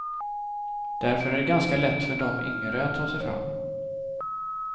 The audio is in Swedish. Därför är det ganska lätt för dom yngre att ta sig fram.